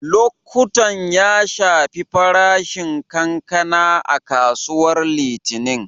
Lokuttan ya shafi farashin kankana a kasuwar Litinin.